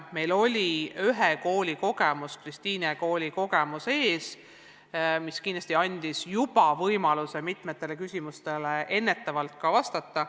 Meil oli ühe kooli, Kristiine kooli kogemus ees, mis kindlasti andis võimaluse mitmetele küsimustele juba ennetavalt vastata.